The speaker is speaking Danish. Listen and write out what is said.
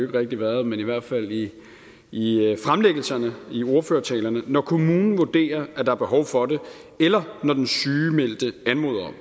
rigtig været men i hvert fald i i fremlæggelserne i ordførertalerne når kommunen vurderer at der er behov for det eller når den sygemeldte anmoder